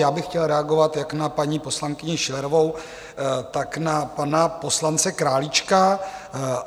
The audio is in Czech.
Já bych chtěl reagovat jak na paní poslankyni Schillerovou, tak na pana poslance Králíčka.